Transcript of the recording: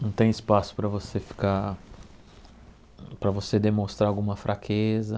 Não tem espaço para você ficar... para você demonstrar alguma fraqueza.